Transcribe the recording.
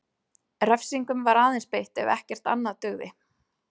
Refsingum var aðeins beitt ef ekkert annað dugði.